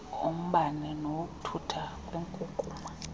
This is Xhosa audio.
ombane nawokuthuthwa kwenkukuma